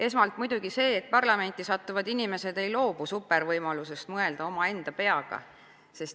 Esmalt muidugi see, et parlamenti sattuvad inimesed ei loobu supervõimalusest mõelda oma enda peaga.